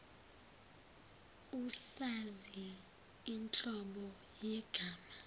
usazi inhlobo yegama